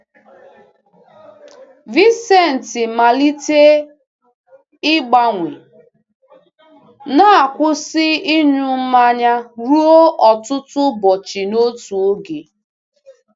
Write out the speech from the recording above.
Vicente malitere ịgbanwe, na-akwụsị ịṅụ mmanya ruo ọtụtụ ụbọchị n'otu oge.